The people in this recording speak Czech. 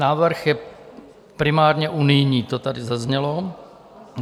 Návrh je primárně unijní, to tady zaznělo.